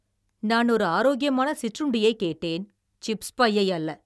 நான் ஒரு ஆரோக்கியமான சிற்றுண்டியைக் கேட்டேன், சிப்ஸ் பையை அல்ல!